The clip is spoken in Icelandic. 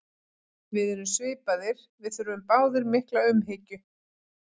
Við erum svipaðir, við þurfum báðir mikla umhyggju.